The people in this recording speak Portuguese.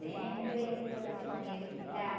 Sempre eu ia, toda semana ia visitar.